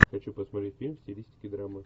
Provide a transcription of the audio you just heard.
хочу посмотреть фильм в стилистике драмы